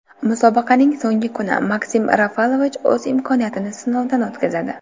Musobaqaning so‘nggi kuni Maksim Rafalovich o‘z imkoniyatini sinovdan o‘tkazadi.